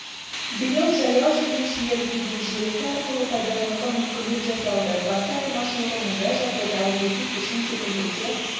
биыл жаяу жүргіншілер гидін желісі арқылы пайдалануға мүмкіндік жасалды басты айырмашылығы мұндай жағдайда аудиогид үшін кепілдікке